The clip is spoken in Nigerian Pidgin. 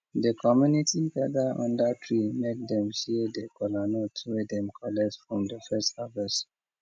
de community gather under tree make dem share de kolanut wey dem collect from de first harvest